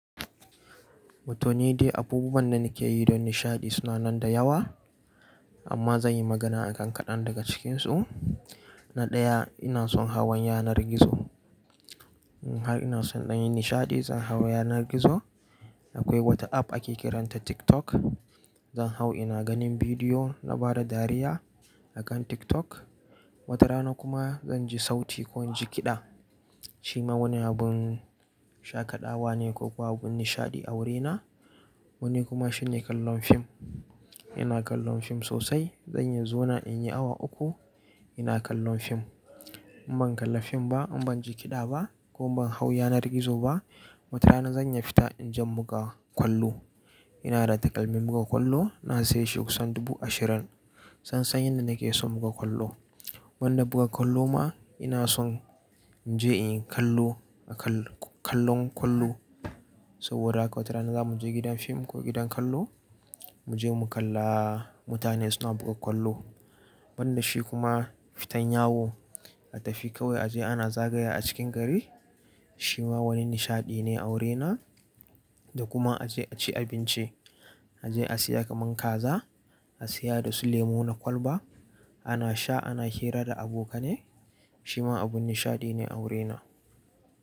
Wato ni dai abubuwan da nake yi don nishaɗi suna nan da yawa amma zan yi magana a kan kaɗan daga cikinsu. Na ɗaya ina son hawan yanar gizo. Har ina so in ɗan yi nishaɗi zan hau yanar gizo. Akwai Wata App ake kiranta TikTok. Zan hau ina ganin bidiyo na bada dariya a kan TikTok. Wata rana kuma zan ji sauti ko in ji kiɗa. Shi ma wani abun shaƙaɗawa ne koko abun nishaɗi a wurina. Wani kuma shine kallon fim. Ina kallon fim sosai. Zan iya zona in yi awa uku ina kallon fim. In ban kalla fim ba, in ban ji kiɗa ba ko ban hau yanar gizo ba, wata rana zan iya fita in je mu buga ƙwallo. Ina da takalmin buga ƙwallo. Na saye shi kusan dubu ashirin. Tsan tsan yadda nake son buga ƙwallo. Wanda buga ƙwallo ma ina son in je in yi kallo a kallon ƙwallo. Saboda haka wata rana za mu je gidan fim ko gidan kallo mu je mu kalla mutane suna buga ƙwallo. Banda shi kuma fitan yawo. A tafi kawai a je ana zagaya a cikin gari. Shi ma wani nishaɗi ne a wurina. Da kuma a je a ci abinci. A je a siya kaman kaza, a siya dasu lemo na kwalba. Ana sha ana hira da abokanai. Shi ma abun nishaɗi ne a wurina.